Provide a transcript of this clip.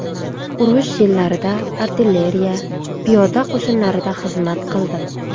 Urush yillarida artilleriya, piyoda qo‘shinlarida xizmat qildim.